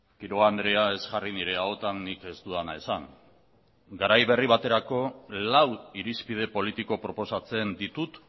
quiroga andrea ez jarri nire ahotan nik ez dudana esan garai berri baterako lau irizpide politiko proposatzen ditut